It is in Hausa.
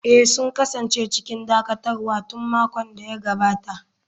Eh, sun kasance cikin dakatarwa tun makon da ya gabata.